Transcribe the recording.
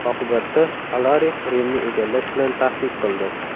Oqibatda, Alarix Rimni egallash bilan tahdid qildi.